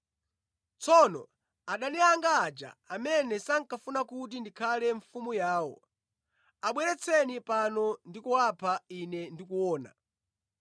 Tsono adani anga aja amene sankafuna kuti ndikhale mfumu yawo, abweretseni pano ndi kuwapha ine ndikuona.”